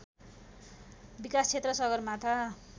विकाश क्षेत्र सगरमाथा